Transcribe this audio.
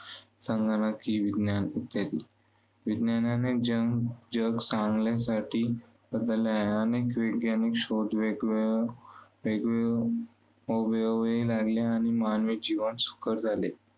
संगणकीय, विज्ञान इत्यादी. विज्ञानाने जगजग चांगल्यासाठी आहे, अनेक वैज्ञानिक शोध, वेगवेगळ्यावेगवे लागले आणि मानवी जीवन सुखर झाले.